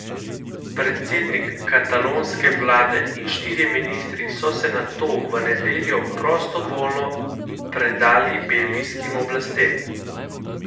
Predsednik katalonske vlade in štirje ministri so se nato v nedeljo prostovoljno predali belgijskim oblastem.